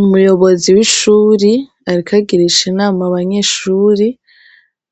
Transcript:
Umuyobozi w'ishuri ariko agirisha inama abanyeshuri